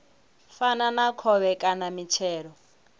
fana na khovhe kana mitshelo